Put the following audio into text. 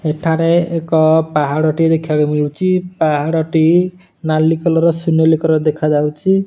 ଏଠାରେ ଏକ ପାହାଡ଼ ଟିଏ ଦେଖା ଯାଇଛି। ପାହାଡ ଟି ନାଲି କଲର୍ ସୁନେଲି କଲର୍ ର ଦେଖା ଯାଉଛି।